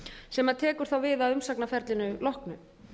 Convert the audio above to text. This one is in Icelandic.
sem tekur þá við af umsagnarferlinu loknu